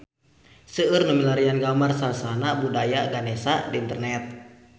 Seueur nu milarian gambar Sasana Budaya Ganesha di internet